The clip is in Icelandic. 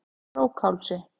Krókhálsi